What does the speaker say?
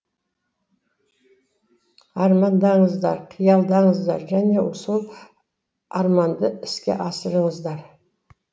армандаңыздар қиялдаңыздар және сол арманды іске асырыңыздар